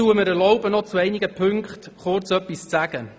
Ich erlaube mir, zu einigen Punkten noch kurz etwas zu sagen.